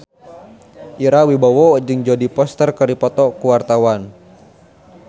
Ira Wibowo jeung Jodie Foster keur dipoto ku wartawan